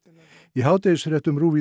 í hádegisfréttum RÚV